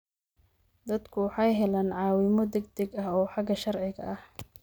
Dadku waxay helaan caawimo degdeg ah oo xagga sharciga ah.